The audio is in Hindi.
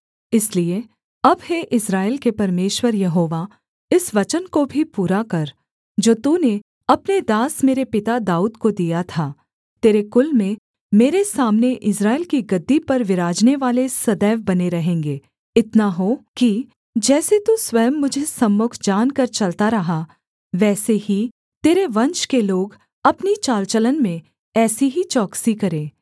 इसलिए अब हे इस्राएल के परमेश्वर यहोवा इस वचन को भी पूरा कर जो तूने अपने दास मेरे पिता दाऊद को दिया था तेरे कुल में मेरे सामने इस्राएल की गद्दी पर विराजनेवाले सदैव बने रहेंगे इतना हो कि जैसे तू स्वयं मुझे सम्मुख जानकर चलता रहा वैसे ही तेरे वंश के लोग अपनी चाल चलन में ऐसी ही चौकसी करें